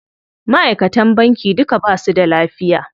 Maʼaikatan banki duka basu da lafiya.